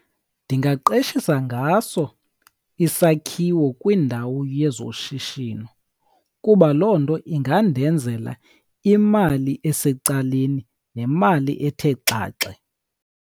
Ndingaqeshisa ngaso isakhiwo kwindawu yezoshishino, kuba loo nto ingandenzela imali esecaleni nemali ethe xaxe.